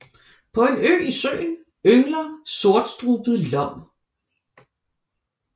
På en ø i søen yngler sortstrubet lom